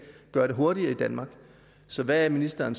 gøre det hurtigere i danmark så hvad er ministeren